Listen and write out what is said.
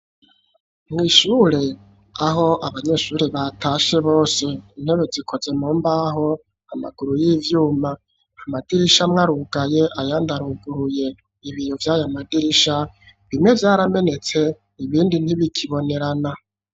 Mw'Ishure aho abanyeshuri batashe bose intebe zikoze mumbaho, amaguru y'ivyuma, amadirisha mwarugaye, ayandaruguruye ,ibiyo Vyayamadirisha bimwe vyaramenetse ,ibindi ntibikibonerana.